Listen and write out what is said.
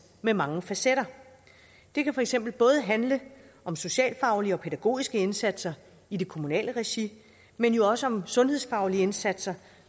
med mange facetter det kan for eksempel både handle om socialfaglige og pædagogiske indsatser i det kommunale regi men jo også om sundhedsfaglige indsatser